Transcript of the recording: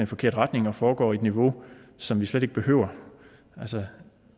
forkert retning og foregår på et niveau som vi slet ikke behøver altså